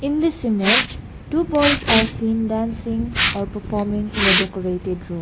in this image two boys are seen dancing performing in a decorated room.